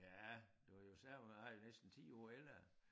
Ja du kan jo se på mig næsten 10 år ældre